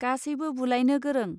गासैबो बुलायनो गोरों